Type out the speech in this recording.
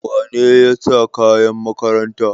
Wane ne ya sa kayan makaranta?